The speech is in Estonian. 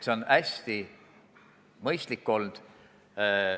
See on hästi mõistlik olnud.